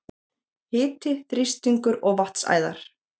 Hiti, þrýstingur og vatnsæðar